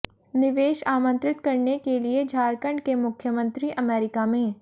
निवेश आमंत्रित करने के लिए झारखंड के मुख्यमंत्री अमेरिका में